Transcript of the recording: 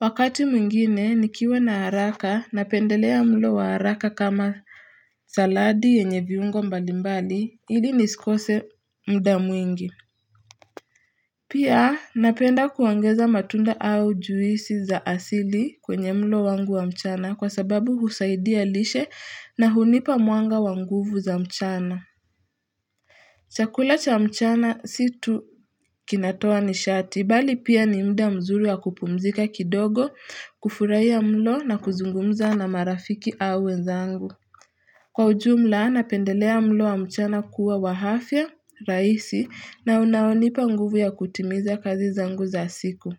Wakati mwingine nikiwa na haraka napendelea mlo wa haraka kama saladi yenye viungo mbalimbali ili nisikose mda mwingi Pia napenda kuongeza matunda au juisi za asili kwenye mlo wangu wa mchana kwa sababu husaidia lishe na hunipa mwanga wa nguvu za mchana chakula cha mchana si tu kinatoa nishati, bali pia ni muda mzuri wa kupumzika kidogo, kufurahia mlo na kuzungumza na marafiki a wenzangu. Kwa ujumla, napendelea mlo wa mchana kuwa wa hafya, raisi, na unaonipa nguvu ya kutimiza kazi zangu za siku.